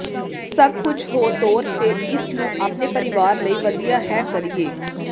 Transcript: ਸਭ ਕੁਝ ਹੋ ਤੌਰ ਤੇ ਇਸ ਨੂੰ ਆਪਣੇ ਪਰਿਵਾਰ ਲਈ ਵਧੀਆ ਹੈ ਕਰੀਏ